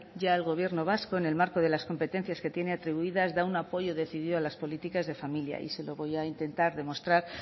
ya el gobierno vasco en el marco de las competencias que tiene atribuidas da un apoyo decidido a las políticas de familia y se lo voy a intentar demostrar